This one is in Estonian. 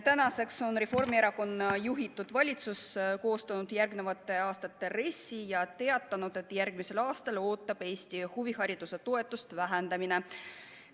Tänaseks on Reformierakonna juhitud valitsus koostanud järgmiste aastate RES-i ja teatanud, et järgmisel aastal Eesti huvihariduse toetust vähendatakse.